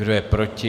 Kdo je proti?